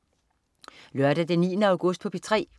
Lørdag den 9. august - P3: